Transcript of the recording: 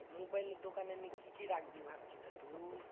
মোবাইলের দোকানে নিয়ে কি কি রাখবি ভাবছি তা তুই?